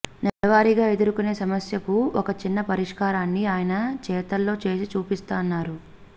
నెలవారీగా ఎదుర్కొనే సమస్యకు ఒక చిన్న పరిష్కారాన్ని ఆయన చేతల్లో చేసి చూపిస్తున్నారు